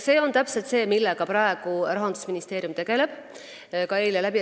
See on täpselt see, millega Rahandusministeerium praegu tegeleb.